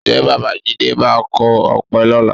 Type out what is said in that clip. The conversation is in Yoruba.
Ǹjẹ́ Bàbá jídé máa kọ ọ̀pẹ lọ́la?